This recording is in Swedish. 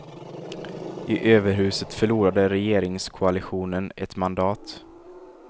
I överhuset förlorade regeringskoalitionen ett mandat.